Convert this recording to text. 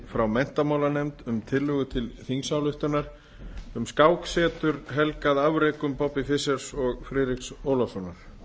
nefndaráliti frámenntamálanefnd um tillögu til þingsálýktuanr um skáksetur helgað afrekum bobbys fischers og friðriks ólafssonar